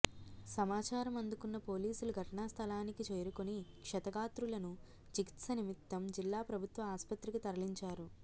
సమాచారం అందుకున్న పోలీసులు ఘటనాస్థలానికి చేరుకొని క్షతగాత్రులను చికిత్స నిమిత్తం జిల్లా ప్రభుత్వ ఆస్పత్రికి తరలించారు